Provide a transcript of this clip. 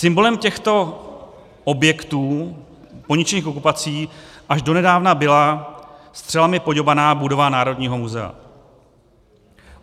Symbolem těchto objektů poničených okupací až donedávna byla střelami poďobaná budova Národního muzea.